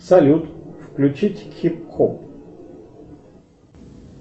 салют включить хип хоп